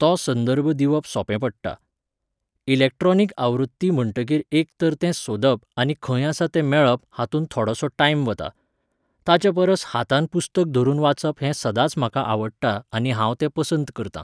तो संदर्भ दिवप सोंपें पडटा. इलेक्ट्रोनीक आवृत्ती म्हणटकीर एक तर तें सोदप आनी खंय आसा तें मेळप हातूंत थोडोसो टायम वता. ताच्या परस हातान पुस्तक धरुन वाचप हें सदांच म्हाका आवडटा आनी हांव तें पसंत करतां.